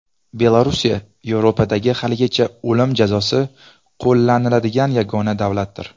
Belorussiya Yevropadagi haligacha o‘lim jazosi qo‘llaniladigan yagona davlatdir.